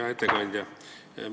Hea ettekandja!